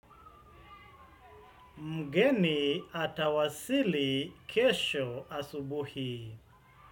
Mgeni atawasili kesho asubuhi.